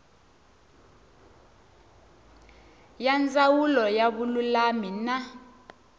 ya ndzawulo ya vululami na